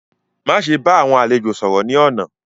Maṣe bá awọn àlẹ̀jọ̀ sọ̀rọ̀ ni lónà!